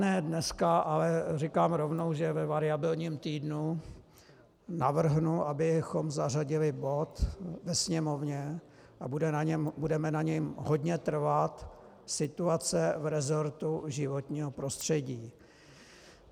Ne dnes, ale říkám rovnou, že ve variabilním týdnu navrhnu, abychom zařadili bod ve Sněmovně, a budeme na něm hodně trvat, Situace v resortu životního prostředí.